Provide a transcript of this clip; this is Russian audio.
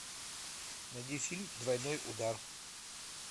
найди фильм двойной удар